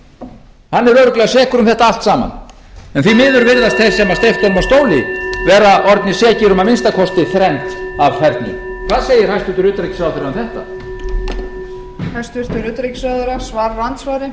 hann er örugglega sekur um þetta allt saman en því miður virðast þeir sem steyptu honum af stóli vera orðnir sekir um að minnsta kosti þrennt af fernu hvað segir hæstvirtur utanríkisráðherra um þetta